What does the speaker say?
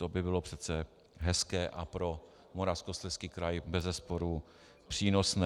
To by bylo přece hezké a pro Moravskoslezský kraj bezesporu přínosné.